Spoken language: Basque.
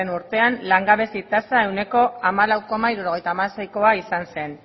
urtean langabezi tasa ehuneko hamalau koma hirurogeita hamaseikoa izan zen